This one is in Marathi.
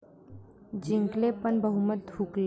जिंकले पण बहुमत हुकले